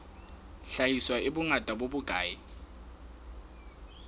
hlahiswa e bongata bo bokae